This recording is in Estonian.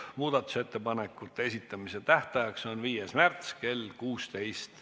Muudatusettepanekute esitamise tähtaeg on 5. märts kell 16.